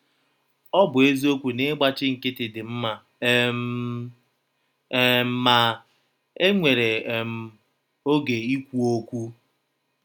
Ọ bụ eziokwu na ịgbachi nkịtị dị mma um, um ma, e nwere “ um Ọge ikwụ ọkwụ. ”